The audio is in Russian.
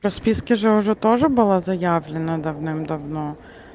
в расписке же уже тоже было заявлено давным-давно